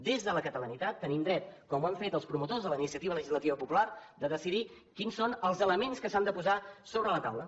des de la catalanitat tenim dret com ho han fet els promotors de la iniciativa legislativa popular de decidir quins són els elements que s’han de posar sobre la taula